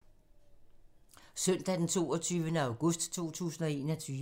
Søndag d. 22. august 2021